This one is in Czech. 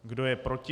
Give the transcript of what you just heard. Kdo je proti?